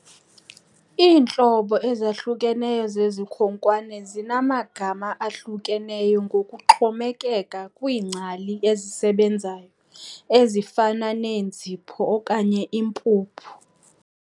Iintlobo ezahlukeneyo zezikhonkwane zinamagama ahlukeneyo ngokuxhomekeke kwiingcali ezisebenzayo, ezifana neenzipho okanye iimpuphu.